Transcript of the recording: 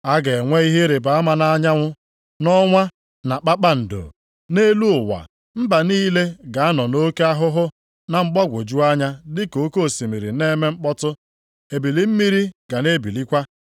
“A ga-enwe ihe ịrịbama nʼanyanwụ, nʼọnwa, na kpakpando. Nʼelu ụwa, mba niile ga-anọ nʼoke ahụhụ na mgbagwoju anya dị ka oke osimiri na-eme mkpọtụ, ebili mmiri ga na-ebilikwa.